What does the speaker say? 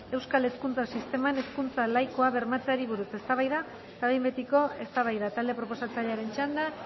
euskal hezkuntza sisteman hezkuntza laikoa bermatzeari buruz eztabaida eta behin betiko eztabaida talde proposatzailearen txanda